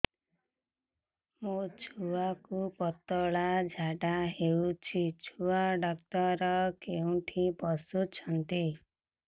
ମୋ ଛୁଆକୁ ପତଳା ଝାଡ଼ା ହେଉଛି ଛୁଆ ଡକ୍ଟର କେଉଁଠି ବସୁଛନ୍ତି